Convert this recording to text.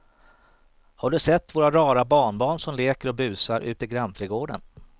Har du sett våra rara barnbarn som leker och busar ute i grannträdgården!